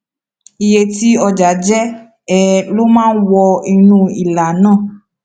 iye tí ọjà jẹ um ló máa wọ inú ìlà náà